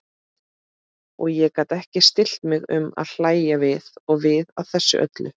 Og ég gat ekki stillt mig um að hlægja við og við að þessu öllu.